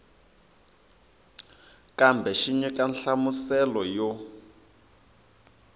kambe xi nyika nhlamuselo yo